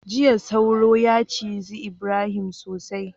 jiya sauro ya ciji Ibrahim sosai